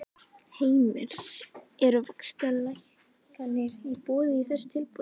Heimir: Eru vaxtalækkanir í boði í þessu tilboði?